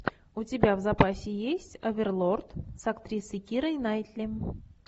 у тебя в запасе есть оверлорд с актрисой кирой найтли